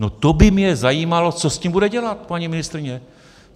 No to by mě zajímalo, co s tím bude dělat paní ministryně.